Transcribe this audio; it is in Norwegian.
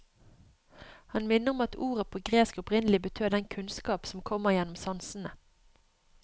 Han minner om at ordet på gresk opprinnelig betød den kunnskap som kommer gjennom sansene.